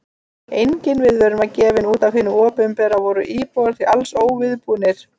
Engin viðvörun var gefin út af hinu opinbera og voru íbúar því alls óviðbúnir.